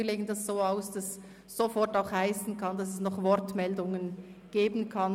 Wir legen dies so aus, dass «sofort» auch bedeuten kann, dass es vorher noch Wortmeldungen geben kann.